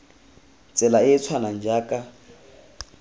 tsela e e tshwanang jaaka